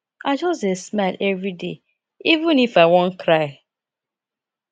i just dey smile everyday even if i wan cry